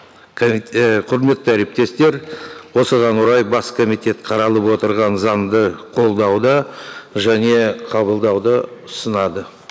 і құрметті әріптестер осыған орай бас комитет қаралып отырған заңды қолдауды және қабылдауды ұсынады